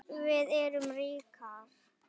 Við erum ríkar